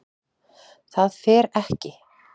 ÞAÐ FER EKKI